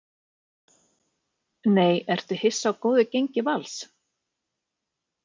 NEI Ertu hissa á góðu gengi Vals?